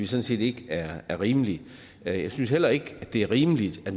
set ikke er rimeligt jeg synes heller ikke det er rimeligt at